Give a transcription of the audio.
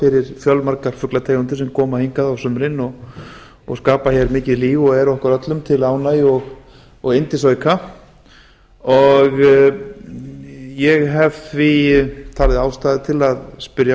fyrir fjölmargar fuglategundir sem koma hingað á sumrin og skapa hér mikið líf og eru okkur öllum til ánægju og yndisauka ég hef því talið ástæðu til þess að spyrja